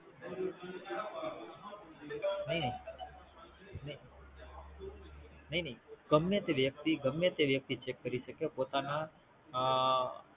નઈ નઈ ગમે તે વ્યક્તિ ગમે તે વ્યક્તિ Cheque કરી શકે પોતાના અ